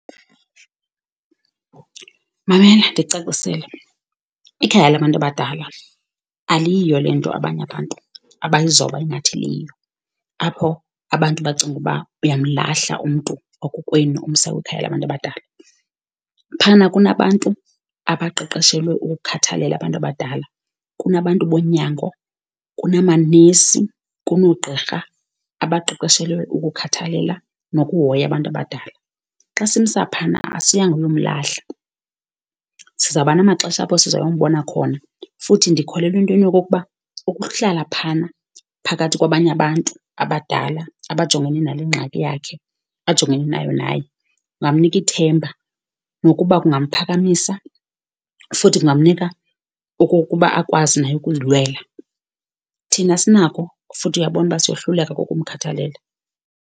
Mamela ndikucacisele, ikhaya labantu abadala aliyiyo le nto abanye abantu abalizoba ingathi liyiyo, apho abantu bacinga uba uyamlahla umntu wakokwenu, umsa kwikhaya labantu abadala. Phayana kunabantu abaqeqeshelwe ukukhathalela abantu abadala, kunabantu bonyango, kunamanesi, kunoogqirha abaqeqeshelwe ukukhathalela nokuhoya abantu abadala. Xa simsa phana asiyanga uyomlahla, sizawuba namaxesha apho sizoyombona khona, futhi ndikholelwa entweni yokokuba ukuhlala phayana phakathi kwabanye abantu abadala, abajongene nale ngxaki yakhe, ajongene nayo naye kungamnika ithemba nokuba kungamphakamisa, futhi kungamnika okokuba akwazi naye ukuzilwela. Thina asinako futhi uyabona uba siyohluleka kukumkhathalela.